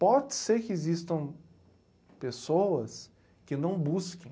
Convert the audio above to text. Pode ser que existam pessoas que não busquem,